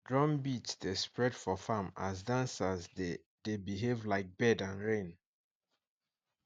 drum beat dey spread for farm as dancers dey dey behave like bird and rain